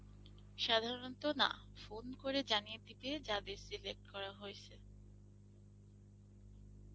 সাধারণত না, phone করে জানিয়ে দিবে যাদের select করা হয়েসে